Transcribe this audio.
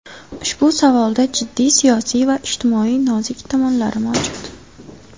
Ushbu savolda jiddiy siyosiy va ijtimoiy nozik tomonlari mavjud.